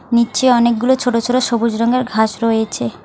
নিচে অনেকগুলো ছোট ছোট সবুজ রঙের ঘাস রয়েছে।